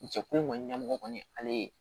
Jɛkulu in kɔni ɲɛmɔgɔ kɔni ale ye